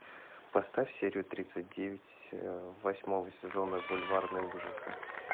поставь серию тридцать девять восьмого сезона бульварные ужасы